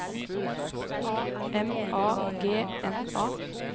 M A G N A